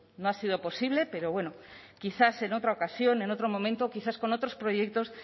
no ha sido posible pero bueno quizás en otra ocasión en otro momento quizás con otros proyectos